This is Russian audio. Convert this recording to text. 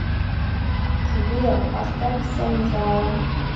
сбер поставь сензала